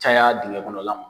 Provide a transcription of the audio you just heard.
Caya dingɛ kɔnɔ la ma.